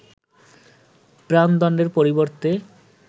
প্রাণদণ্ডের পরিবর্তে